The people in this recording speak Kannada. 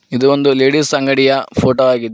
ಇದು ಒಂದು ಲೇಡಿಸ್ ಅಂಗಡಿಯ ಫೋಟೋ ಆಗಿದೆ.